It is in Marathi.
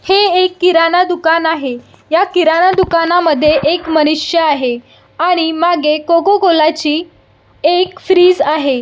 हे एक किराणा दुकान आहे ह्या किराणा दुकानमध्ये एक मनुष्य आहे आणि मागे कोको कोला ची एक फ्रीज आहे.